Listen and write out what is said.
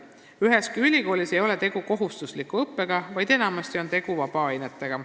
Üheski ülikoolis ei ole tegu kohustusliku õppega, vaid enamasti on tegu vabaainetega.